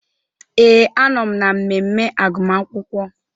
Ee, anọm na mmemme agụmakwụkwọ.